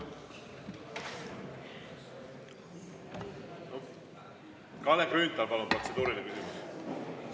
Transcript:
Kalle Grünthal, palun, protseduuriline küsimus!